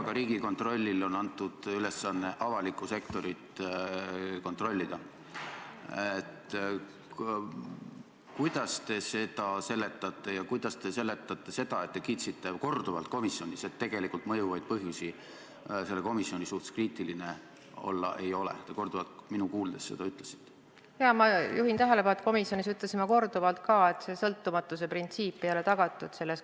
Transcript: Ma juhin tähelepanu, et komisjonis ütlesin ma korduvalt ka seda, et sõltumatuse printsiibi järgimine ei ole selles komisjonis tagatud.